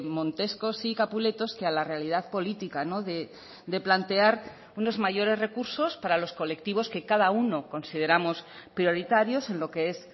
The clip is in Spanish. montescos y capuletos que a la realidad política de plantear unos mayores recursos para los colectivos que cada uno consideramos prioritarios en lo que es